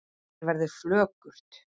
Mér verður flökurt